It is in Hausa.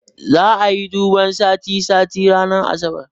Za'a yi duban sati sati ranar asabar